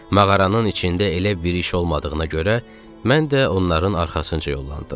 Mağaranın içində elə bir iş olmadığına görə mən də onların arxasınca yollandım.